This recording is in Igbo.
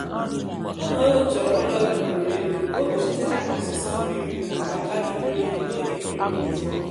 ụmụ ewu chọrọ ụlọ ebugoro elu ka ọ kpuchite ha na ọsụsọ mmiri nakwa ala jụrụ oyi n'oge mmiri na-ezo